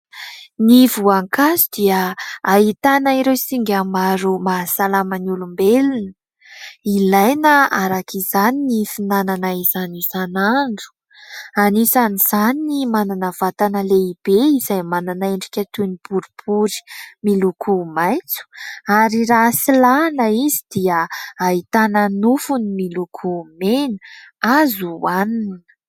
Ny voankazo dia ahitana ireo singa maro mahasalama ny olombelona. Ilaina araka izany ny fihinanana izany isan'andro; anisan'izany ny manana vatana lehibe izay manana endrika toy ny boribory miloko maitso, ary raha silahina izy dia ahitana nofony miloko mena azo hohanina.